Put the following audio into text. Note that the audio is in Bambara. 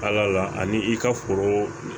Ala la ani i ka foro